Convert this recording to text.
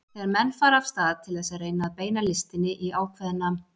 Þegar menn fara af stað til þess að reyna að beina listinni í ákveðna